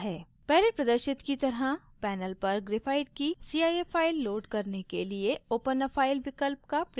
पहले प्रदर्शित की तरह panel पर graphite की cif file load करने के लिए open a file विकल्प का प्रयोग करें